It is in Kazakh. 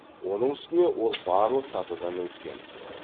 оның үстіне ол барлық сатыдан өткен